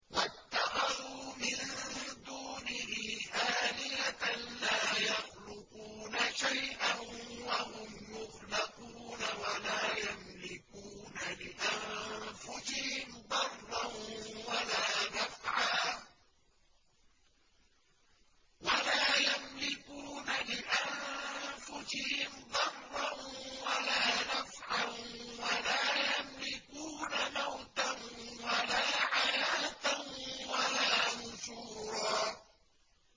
وَاتَّخَذُوا مِن دُونِهِ آلِهَةً لَّا يَخْلُقُونَ شَيْئًا وَهُمْ يُخْلَقُونَ وَلَا يَمْلِكُونَ لِأَنفُسِهِمْ ضَرًّا وَلَا نَفْعًا وَلَا يَمْلِكُونَ مَوْتًا وَلَا حَيَاةً وَلَا نُشُورًا